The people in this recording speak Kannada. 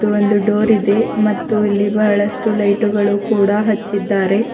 ಇದು ಒಂದು ಡೋರ್ ಇದೆ ಮತ್ತು ಇಲ್ಲಿ ಬಹಳಷ್ಟು ಲೈಟುಗಳು ಕೂಡ ಹಚ್ಚಿದ್ದಾರೆ.